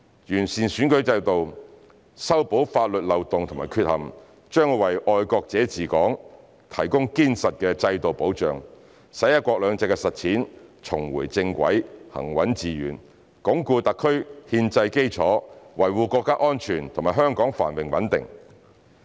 完善選舉制度、修補法律漏洞及缺陷，將為"愛國者治港"提供堅實的制度保障，使"一國兩制"的實踐重回正軌、行穩致遠，鞏固特區憲制基礎，維護國家安全和香港繁榮穩定。